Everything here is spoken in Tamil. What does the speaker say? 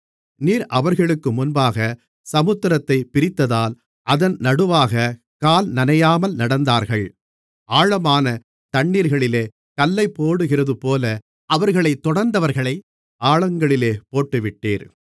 நீர் அவர்களுக்கு முன்பாக சமுத்திரத்தைப் பிரித்ததால் அதன் நடுவாகக் கால்நனையாமல் நடந்தார்கள் ஆழமான தண்ணீர்களிலே கல்லைப்போடுகிறதுபோல அவர்களைத் தொடர்ந்தவர்களை ஆழங்களிலே போட்டுவிட்டீர்